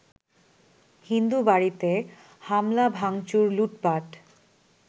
হিন্দুবাড়িতে হামলা ভাঙচুর-লুটপাট